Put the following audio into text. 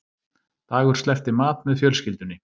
Dagur sleppti mat með fjölskyldunni